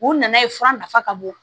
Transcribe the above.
U nana ye fura nafa ka bon